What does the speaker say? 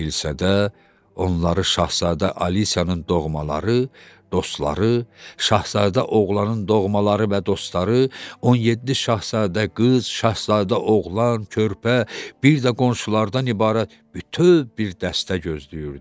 Kilsədə onları Şahzadə Alisyanın doğmaları, dostları, Şahzadə oğlanın doğmaları və dostları, 17 Şahzadə qız, Şahzadə oğlan, körpə, bir də qonşulardan ibarət bütöv bir dəstə gözləyirdi.